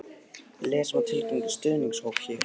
Lesa má tilkynningu stuðningshópsins hér